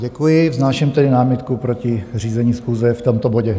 Děkuji, vznáším tedy námitku proti řízení schůze v tomto bodě.